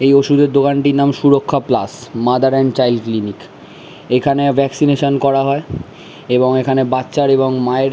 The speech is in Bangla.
এই ওষুধ এর দোকান তীর নাম Suraksha plus mother and child clinic এখানে ভাকসিনেশন করা হয় এবং এখানে বাচ্চার এবং মায়ের--